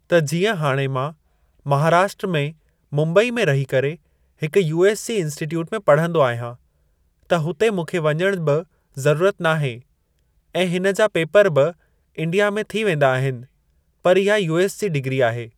त जीअं हाणे मां महाराष्ट्र में मुम्बई में रही करे हिकु यूएस जी इंसिटट्यूट में पढ़ंदो आहियां त हुते मूंखे वञणु बि ज़रूरत नाहे ऐं हिन जा पेपर बि इंडिया में थी वेंदा आहिनि पर इहा यूएस जी डिगरी आहे ।